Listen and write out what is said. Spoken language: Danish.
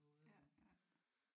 Ja ja